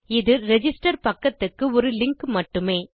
இது ரிஜிஸ்டர் பக்கத்துக்கு ஒரு லிங்க் மட்டுமே